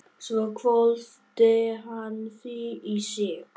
Svo hvolfdi hann því í sig.